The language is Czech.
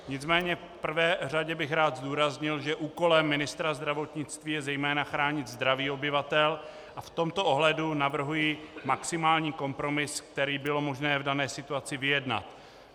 Nicméně v prvé řadě bych rád zdůraznil, že úkolem ministra zdravotnictví je zejména chránit zdraví obyvatel, a v tomto ohledu navrhuji maximální kompromis, který bylo možné v dané situaci vyjednat.